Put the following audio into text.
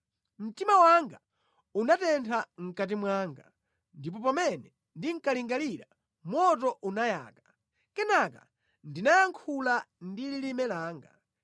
Mtima wanga unatentha mʼkati mwanga, ndipo pamene ndinkalingalira, moto unayaka; kenaka ndinayankhula ndi lilime langa: